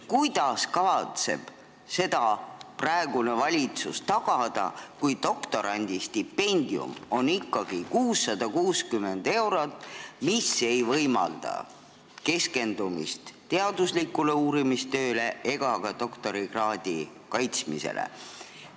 Kuidas kavatseb praegune valitsus seda tagada, kui doktorandistipendium on 660 eurot, mis ei võimalda keskenduda teaduslikule uurimistööle ja doktorikraadi kaitsmisele?